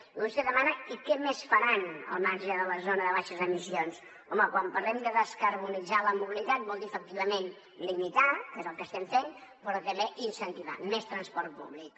i vostè demana i què més faran al marge de la zona de baixes emissions home quan parlem de descarbonitzar la mobilitat volem dir efectivament limitar que és el que estem fent però també incentivar més transport públic